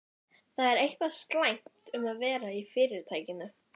Það er eitthvað slæmt um að vera í Fyrirtækinu.